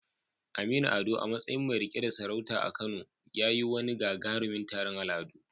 Naɗin sarautar Aminu Ado a matsayin mai riƙe da sarauta a Kano ya yi wani gagarumin taron al'adu.